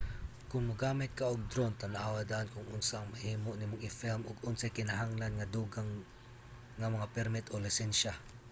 kon mogamit ka og drone tan-awa daan kon unsa ang mahimo nimong i-film ug unsay kinahanglan nga dugang nga mga permit o lisensya